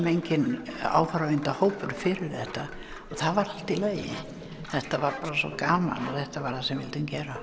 enginn fyrir þetta það var allt í lagi þetta var bara svo gaman þetta var það sem við vildum gera